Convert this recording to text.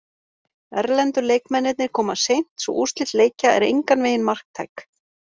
Erlendu leikmennirnir koma seint svo úrslit leikja er engan vegin marktæk.